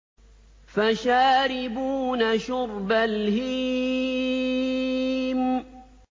فَشَارِبُونَ شُرْبَ الْهِيمِ